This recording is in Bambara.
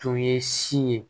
Tun ye si ye